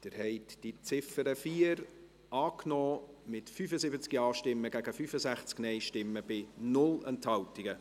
Sie haben die Ziffer 4 als Motion angenommen, mit 75 Ja- gegen 65 Nein-Stimmen bei 0 Enthaltungen.